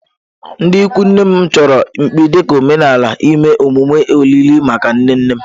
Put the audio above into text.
Ndị ikwu nne m chọrọ mkpi dị ka omenala ime emume olili maka nne nne m.